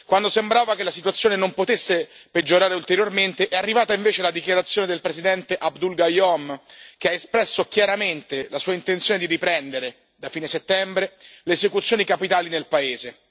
Quando sembrava che la situazione non potesse peggiorare ulteriormente, è arrivata invece la dichiarazione del presidente Abdul Gayoom, che ha espresso chiaramente la sua intenzione di riprendere, da fine settembre, le esecuzioni capitali nel paese.